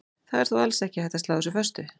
Það er þó alls ekki hægt að slá þessu föstu.